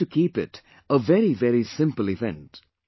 We have to keep it a very very simple event